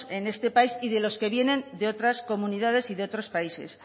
en este país y de los que vienen de otras comunidades y de otros países